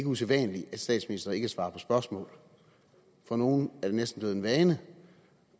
usædvanligt at statsministre ikke svarer på spørgsmål for nogle er det næsten blevet en vane